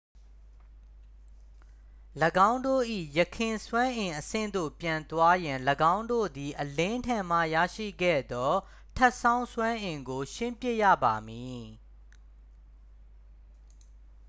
၎င်းတို့၏ ယခင်စွမ်းအင်အဆင့်သို့ပြန်သွားရန် ၎င်းတို့သည် အလင်းထံမှရရှိခဲ့သော ထပ်ဆောင်းစွမ်းအင်ကို ရှင်းပစ်ရပါမည်